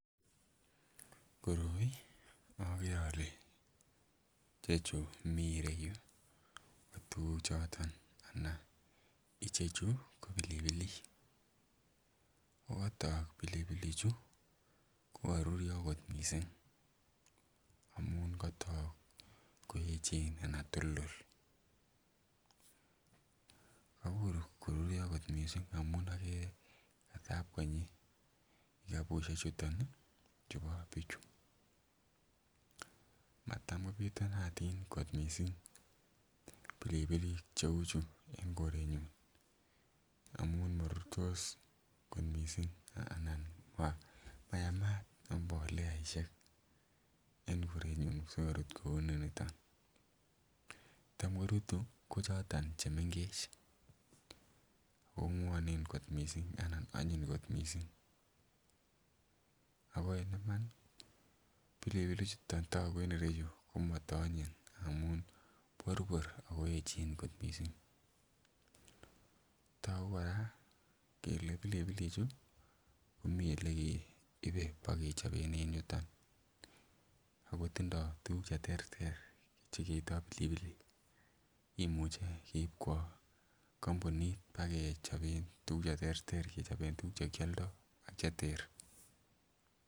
Koroi okere ole chechu mii ireyuu ko tukuk choton anan ichechu ko pilipilik okotok pilipilik chuu ko koruryo kot missing amun kotok koyechen anan toldol kobur koruryo kot missing amun okere katab konyi kikabushek chuton nii chubo bichuu. Matam kopitunatin kot missing pilipilik cheu chuu en korenyun amun morurtos kot missing anan mayamat imboleaishek en korenyun sikorut kou noniton. Che tam korutu ko choton chemgech onwonen kot missing anan onyiny kot missing ako en Imani pilipilik chuton toku en ireyuu ko moto onyin ngamun borbor ako echen kot missing. Toku Koraa kele pilipilik chuu ko mii olekeibe bokechoben en yuton akotindo tukuk cheterter chekeito pilipilik, kimuche keib kwo kompunit bokechoben tukuk cheterter kechoben tukuk chekioldo ak cheter.